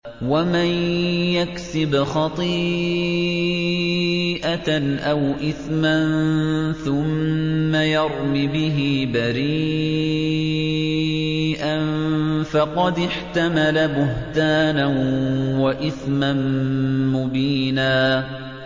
وَمَن يَكْسِبْ خَطِيئَةً أَوْ إِثْمًا ثُمَّ يَرْمِ بِهِ بَرِيئًا فَقَدِ احْتَمَلَ بُهْتَانًا وَإِثْمًا مُّبِينًا